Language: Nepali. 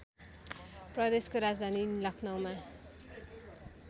प्रदेशको राजधानी लखनऊमा